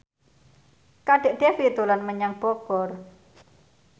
Kadek Devi dolan menyang Bogor